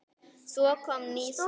Svo kom ný saga.